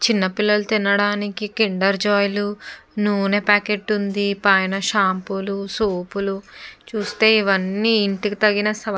చిన్న పిల్లలు తినడానికి కైండర్ జాయ్ లు నూనె పాకెట్ ఉంది. పైన షాంపూ లు సోప్ లు చూస్తే ఇవన్నీ ఇంటికి తగిన --